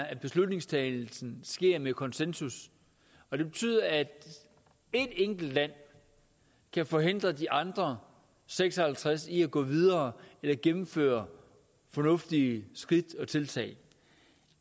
at beslutningstagningen sker ved konsensus og det betyder at et enkelt land kan forhindre de andre seks og halvtreds i at gå videre eller gennemføre fornuftige skridt og tiltag